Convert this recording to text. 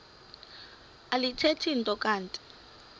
alithethi nto kanti